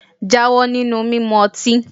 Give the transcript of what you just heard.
Jáwọ́ nínú mímu ọtí!